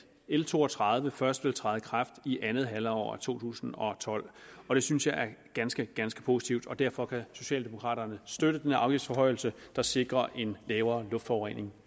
l to og tredive først vil træde i kraft i andet halvår to tusind og tolv det synes jeg er ganske ganske positivt og derfor kan socialdemokraterne støtte denne afgiftsforhøjelse der sikrer en lavere luftforurening